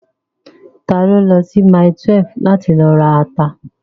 Ta ló lọ sí mile 12 láti lọ rata?